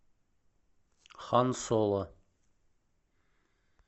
хан соло